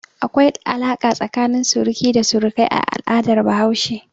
Akwai alaƙa tsakanin suruki da surukai a al'adar Bahaushe.